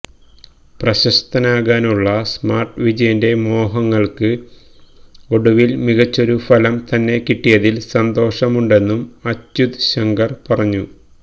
പ്രശസ്തനാകാനുള്ള smart വിജയന്റെ മോഹങ്ങൾക്ക് ഒടുവിൽ മികച്ചൊരു ഫലം തന്നെ കിട്ടിയതിൽ സന്തോഷമുണ്ടെന്നും അച്യുത് ശങ്കർ പറഞ്ഞു